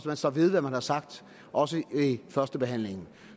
man står ved hvad man har sagt også ved førstebehandlingen